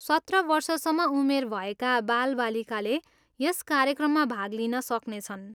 सत्र वर्षसम्म उमेर भएका बालबालिकाले यस कार्यक्रममा भाग लिन सक्नेछन्।